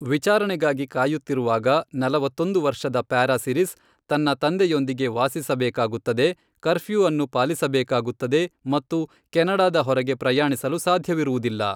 ವಿಚಾರಣೆಗಾಗಿ ಕಾಯುತ್ತಿರುವಾಗ, ನಲವತ್ತೊಂದು ವರ್ಷದ ಪ್ಯಾರಾಸಿರಿಸ್ ತನ್ನ ತಂದೆಯೊಂದಿಗೆ ವಾಸಿಸಬೇಕಾಗುತ್ತದೆ, ಕರ್ಫ್ಯೂ ಅನ್ನು ಪಾಲಿಸಬೇಕಾಗುತ್ತದೆ ಮತ್ತು ಕೆನಡಾದ ಹೊರಗೆ ಪ್ರಯಾಣಿಸಲು ಸಾಧ್ಯವಿರುವುದಿಲ್ಲ.